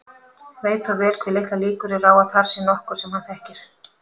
Veit þó vel hve litlar líkur eru á að þar sé nokkur sem hann þekkir.